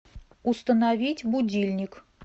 установить будильник